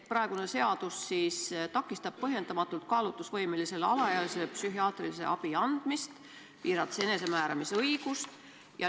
Praegune seadus takistab põhjendamatult kaalutlusvõimelisele alaealisele psühhiaatrilise abi andmist, piirates alaealise enesemääramisõigust.